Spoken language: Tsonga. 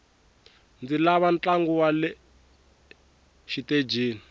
ndzi lava ntlangu wale xitejini